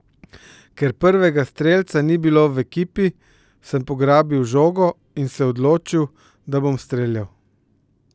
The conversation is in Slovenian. Ker prvega strelca ni bilo v ekipi, sem pograbil žogo in se odločil, da bom streljal.